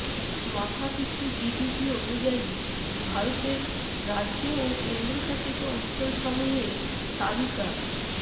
মাথাপিছু জিডিপি অনুযায়ী ভারতের রাজ্য ও কেন্দ্রশাসিত অঞ্চলসমূহের তালিকা